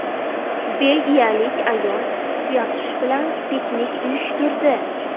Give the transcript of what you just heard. Belgiyalik ayol tuyaqush bilan piknik uyushtirdi.